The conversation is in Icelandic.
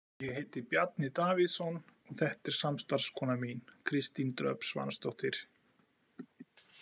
Ég heiti Bjarni Davíðsson og þetta er samstarfskona mín, Kristín Dröfn Svansdóttir.